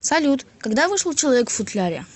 салют когда вышел человек в футляре